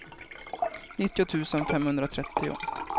nittio tusen femhundratrettio